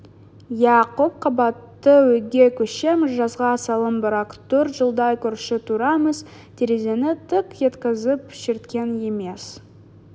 иә көп қабатты үйге көшеміз жазға салым бірақ төрт жылдай көрші тұрамыз терезені тық еткізіп шерткен емес